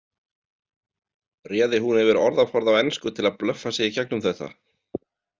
Réði hún yfir orðaforða á ensku til að blöffa sig í gegnum þetta?